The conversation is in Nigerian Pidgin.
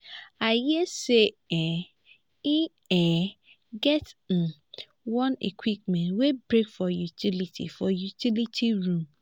i hear say um e um get um one equipment wey break for utility for utility room